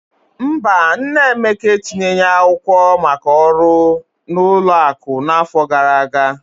Mba, nna Emeka etinyeghị akwụkwọ maka ọrụ na ụlọ akụ n'afọ gara aga.